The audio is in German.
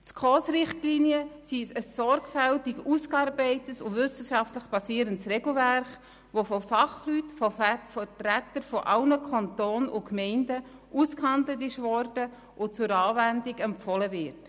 Die SKOS-Richtlinien sind ein sorgfältig ausgearbeitetes und wissenschaftlich basiertes Regelwerk, das von Fachleuten, von Vertretern sämtlicher Kantone und Gemeinden, ausgehandelt worden ist und zur Anwendung empfohlen wird.